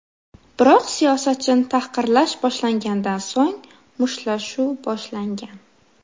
Biroq siyosatchini tahqirlash boshlangandan so‘ng, mushtlashuv boshlangan.